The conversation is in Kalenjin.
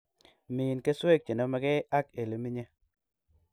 Min keswek chenomekei ak ilemenye